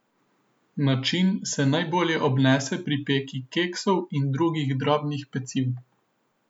Način se najbolje obnese pri peki keksov in drugih drobnih peciv.